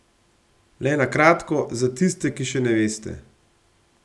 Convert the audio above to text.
Le na kratko, za tiste, ki še ne veste ...